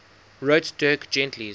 wrote dirk gently's